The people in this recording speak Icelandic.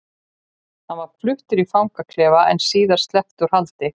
Hann var fluttur í fangaklefa en var síðar sleppt úr haldi.